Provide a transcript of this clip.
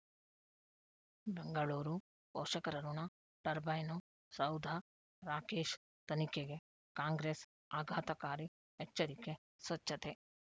ಬೆಂಗಳೂರು ಪೋಷಕರಋಣ ಟರ್ಬೈನು ಸೌಧ ರಾಕೇಶ್ ತನಿಖೆಗೆ ಕಾಂಗ್ರೆಸ್ ಆಘಾತಕಾರಿ ಎಚ್ಚರಿಕೆ ಸ್ವಚ್ಛತೆ